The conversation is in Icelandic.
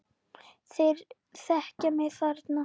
Þeir þekkja mig þarna.